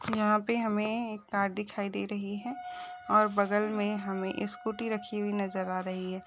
यहाँ पे हमें एक कार दिखाई दे रही है और बगल में हमें स्कूटी रखी हुई नजर आ रही है।